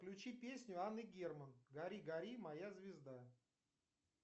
включи песню анны герман гори гори моя звезда